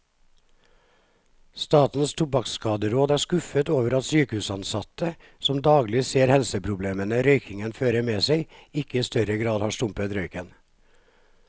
Statens tobakkskaderåd er skuffet over at sykehusansatte, som daglig ser helseproblemene røykingen fører med seg, ikke i større grad har stumpet røyken.